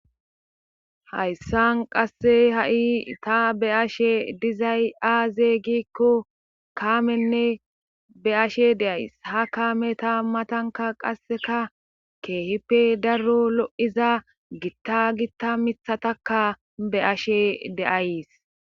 Hayssan qasse ha7i ta be ashe dizay aaze giikko kaamenne be ashe de7ays ha kaame ta matanka qasseka keehippe daro lo7iza gitta gitta mithatakka be ashe deays